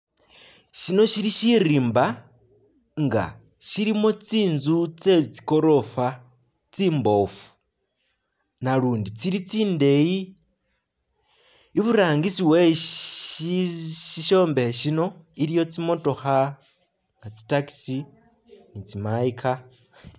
Shino shili shirimba nga shilimo tsinzu tse tsigorofa tsimboofu nalundi tsili tsindeyi i'burangisi weshishombekhe shino iliwo tsimotokha nga tsi taxi ni tsi my car